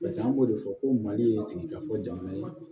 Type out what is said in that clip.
pase an b'o de fɔ ko mali ye sigi ka fɔ jamana ye